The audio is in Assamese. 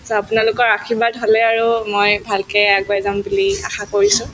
so, আপোনালোকৰ আশীৰ্বাদ হলে আৰু মই ভালকে আগুৱাই যাম বুলি আশা কৰিছো